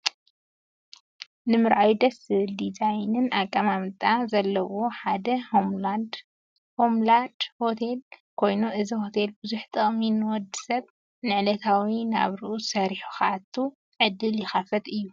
ንምርኣዩ ደስ ዝብል ናዲዛይንን ኣቀማምጣ ኣቁ ዘለዎ ሓደ ሆምላድ ሆቴል ኮይኑ አዚ ሆቴል ብዙሕ ጥቅሚ ንወድሰብ ንዕለታዊ ናብርኡ ሰሪሑ ክኣቱ ዕድል ይከፍት እዩ።